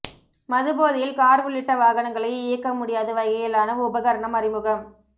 மது போதையில் காா் உள்ளிட்ட வாகனங்களை இயக்க முடியாத வகையிலான உபகரணம் அறிமுகம்